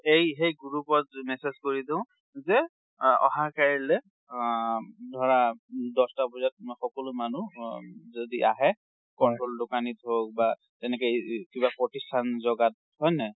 এই সেই group অত message কৰি দিওঁ যে আ অহা কাইলৈ আ ধৰা দহ'তা বাজাত সকলো মানুহ যদি আহে, control দোকানত হওক বা তেনেকে এ~ একিবা প্ৰতিষ্ঠান জাগাত। হয় নে নাই ?